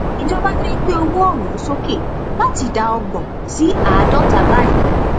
ìjọba fẹẹ gbé owó ọhún sókè láti ìdá ọgbọn sí àádọta báyìí